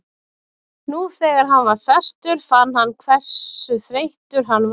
Nú þegar hann var sestur fann hann hversu þreyttur hann var.